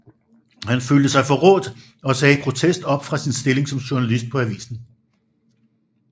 Han følte sig forrådt og sagde i protest op fra sin stilling som journalist på avisen